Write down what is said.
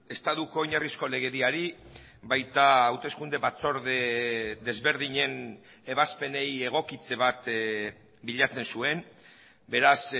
estatuko oinarrizko legediari baita hauteskunde batzorde desberdinen ebazpenei egokitze bat bilatzen zuen beraz